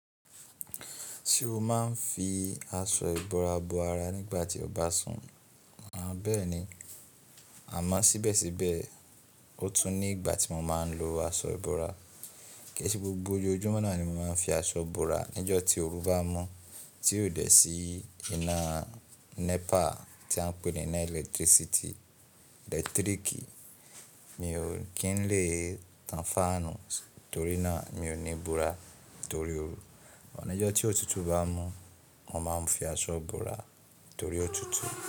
Ṣé o máa ń fi aṣọ ìbora bo ara nígbà tí o bá sùn? Bẹ́ẹ̀ni àmọ́ síbẹ̀síbẹ̀, ó tún ní ìgbà tí mo máa ń lo aṣọ ìbora. Kì í ṣe gbogbo ojojúmọ́ náà ni mo máa ń fi aṣọ ìbora. Níjo tí oru bá mọ́, tí ó dẹ̀ sí iná NEPA tí a ń pè ní iná ẹlẹ́tíríkì, mi ò kí ń le tan fáànù torí náà mi ò ní bora torí oru. Ọ̀níjo tí òtútù bá mú, mo máa ń fi aṣọ bora torí òtútù.